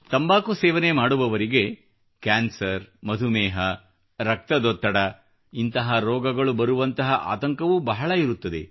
ತಂಬಾಕು ಸೇವನೆ ಮಾಡುವವರಿಗೆ ಕ್ಯಾನ್ಸರ್ ಮಧುಮೇಹ ರಕ್ತದೊತ್ತಡದಂತಹ ರೋಗಗಳು ಬರುವಂತಹ ಆತಂಕವೂ ಬಹಳ ಇರುತ್ತದೆ